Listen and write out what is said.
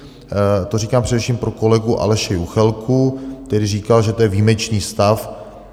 To říkám především pro kolegu Aleše Juchelku, který říkal, že to je výjimečný stav.